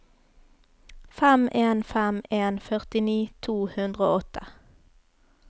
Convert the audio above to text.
fem en fem en førtini to hundre og åtte